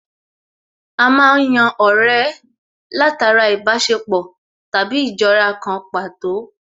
A má ń yan ọ̀rẹ́ látara ìbáṣepọ̀ tàbí ìjọra kan pàtó